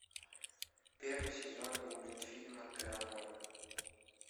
первый сезон мультфильма терранова